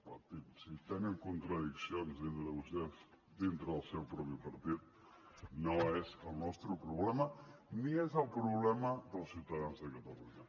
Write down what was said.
per tant si tenen contradiccions entre vostès dintre del seu propi partit no és el nostre problema ni és el problema dels ciutadans de catalunya